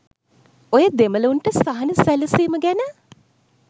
ඔය දෙමල උන්ට සහන සැලසීම ගැන